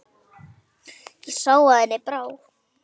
Ég sá að henni brá.